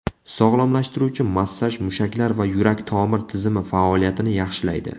Sog‘lomlashtiruvchi massaj mushaklar va yurak-tomir tizimi faoliyatini yaxshilaydi.